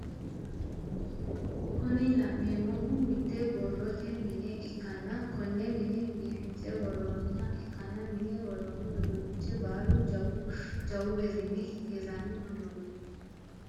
Kuni la'neemohu mitte borrote mine ikkanna konne mine biifinse worroniha ikkanna mine worroni uduunich baalu jawu jawu birrinni hiranni uduunneti.